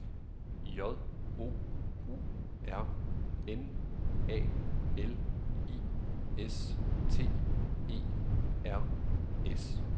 J O U R N A L I S T E R S